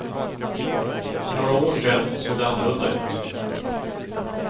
För några år sen såg det annorlunda ut.